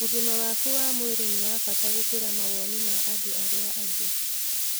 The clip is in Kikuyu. Ũgima waku wa mwĩrĩ nĩ wa bata gũkĩra mawoni ma andũ arĩa angĩ.